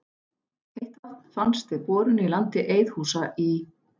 Heitt vatn fannst við borun í landi Eiðhúsa í